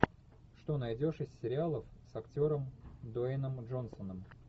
что найдешь из сериалов с актером дуэйном джонсоном